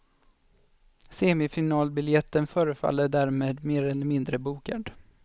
Semifinalbiljetten förefaller därmed mer eller mindre bokad.